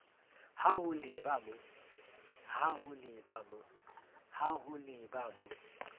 ha ho le ba mo